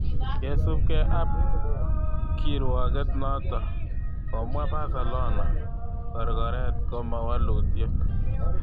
Kosubke ab kirwaget noto, komwa Barcelona: Korkoret koma walutiet.